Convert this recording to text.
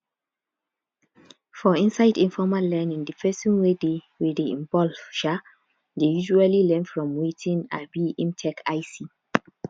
for inside informal learning di person wey dey wey dey involved um dey usually learn from wetin um im take eye see